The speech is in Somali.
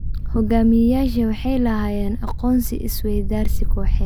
Hogaamiyayaasha waxay lahaayeen aqoon-is-weydaarsi kooxeed.